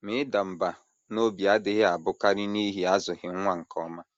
Ma ịda mbà n’obi adịghị abụkarị n’ihi azụghị nwa nke ọma.